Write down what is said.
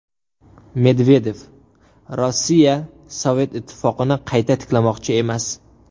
Medvedev: Rossiya Sovet Ittifoqini qayta tiklamoqchi emas.